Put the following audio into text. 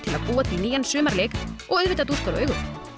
að búa til nýjan sumarleik og auðvitað dúskar og augu